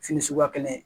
Fini suguya kelen